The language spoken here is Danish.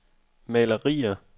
malerier